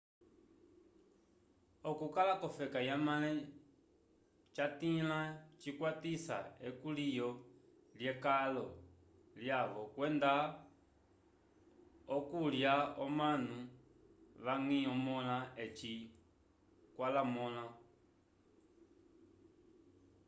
okukala vofeka yamale jatĩla cikkwatisa ekulyo lye kalo lyavo kwenda okunlya omanu vangi omola eci kwalamonla